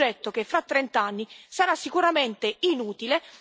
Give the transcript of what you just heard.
Un progetto che fra trent'anni sarà sicuramente inutile.